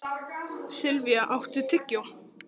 Silvía, áttu tyggjó?